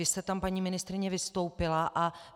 Vy jste tam, paní ministryně, vystoupila.